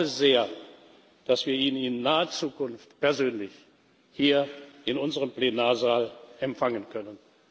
Und ich hoffe sehr, dass wir ihn in naher Zukunft persönlich hier in unserem Plenarsaal empfangen können.